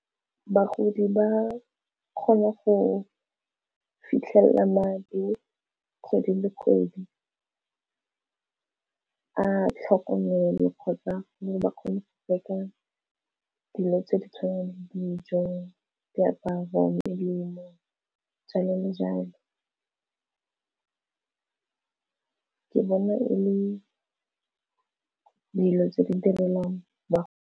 Bagodi ba kgone go fitlhelela madi kgwedi le kgwedi a tlhokomelo kgotsa ba kgone go reka dilo tse di tshwanang le dijo, diaparo, melemo, jalo le jalo ke bona e le dilo tse di direlwang ba.